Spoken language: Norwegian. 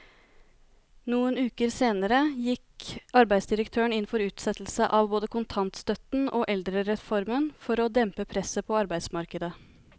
Noen uker senere gikk arbeidsdirektøren inn for utsettelse av både kontantstøtten og eldrereformen for å dempe presset på arbeidsmarkedet.